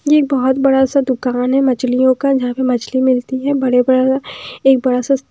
ये एक बहुत बड़ा सा दुकान है मछलियों का जहाँ पे मछली मिलती है बड़े बड़ा सा एक बड़ा सा--